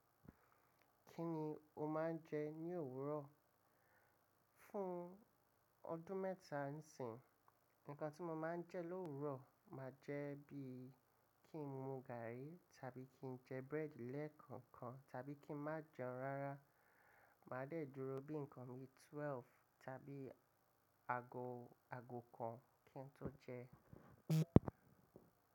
Kí ni o máa ń jẹ ní òwúrọ̀? Fún ọdún mẹ́ta ń sìn, nǹkan tí mo máa ń jẹ l’òwúrọ̀ máa jẹ́ bí i kí n mu gààrí tàbí kí n jẹ búrẹ́dì lẹ́ẹ̀kọ̀kan tàbí kí n má jẹun rárá. Màá dẹ́ẹ̀duro bí nǹkan mi 12 tàbí àgọ̀, àgọ̀ kan kí n tó jẹun.